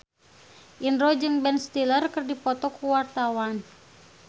Indro jeung Ben Stiller keur dipoto ku wartawan